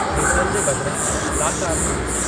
Hazel जे बदिरां ला कारने मिली।